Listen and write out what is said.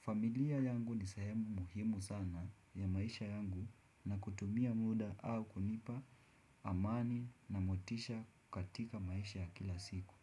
Familia yangu nisehemu muhimu sana ya maisha yangu na kutumia muda au kunipa amani na motisha katika maisha ya kila siku.